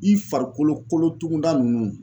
I farikolo kolotugunda nunnu